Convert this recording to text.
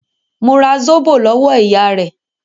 Mo ra Zóbò lọ́wọ́ ìyá rẹ̀.